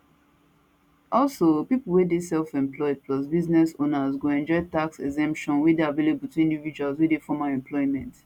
also pipo wey dey selfemployed plus business owners go enjoy tax exemptions wey dey available to individuals wey dey formal employment